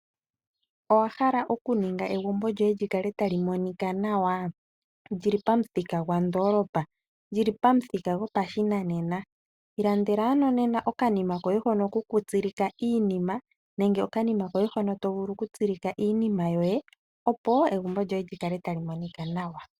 Owa hala okuninga egumbo lyoye li kale ta li monika nawa? Li li pamuthika gwondoolopa, li li pomuthika gwopashinanena? I landela ano nena okanima koye hono kokutsilika iinima nenge okanima koye hono to vulu okutsilika iinima yoye, opo egumbo lyoye li kale ta li monika nawa.